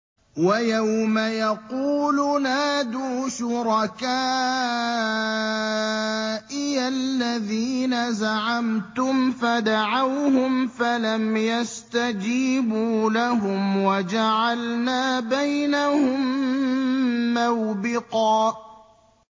وَيَوْمَ يَقُولُ نَادُوا شُرَكَائِيَ الَّذِينَ زَعَمْتُمْ فَدَعَوْهُمْ فَلَمْ يَسْتَجِيبُوا لَهُمْ وَجَعَلْنَا بَيْنَهُم مَّوْبِقًا